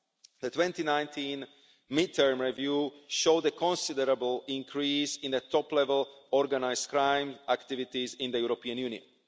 The 2019 midterm review showed the considerable increase in top level organised crime activities in the European Union.